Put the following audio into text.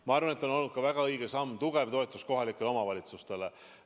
Ma arvan, et see on olnud ka väga tugev toetus kohalikele omavalitsustele.